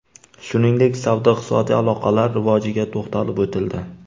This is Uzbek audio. Shuningdek, savdo-iqtisodiy aloqalar rivojiga to‘xtalib o‘tildi.